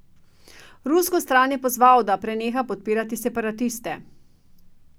Rusko stran je pozval, da preneha podpirati separatiste.